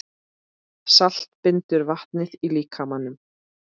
Salt bindur vatnið í líkamanum.